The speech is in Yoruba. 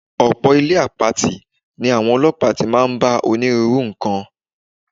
Ò̩pò̩ ilé àpatì ní àwo̩n o̩ló̩pàá tí máa ń bá onírúurú nǹkan.